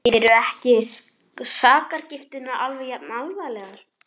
Eru ekki sakargiftirnar alveg jafn alvarlegar?